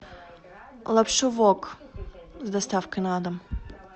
лапшу вок с доставкой на дом